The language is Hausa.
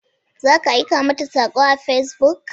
Za ka aika mata sako a Facebook.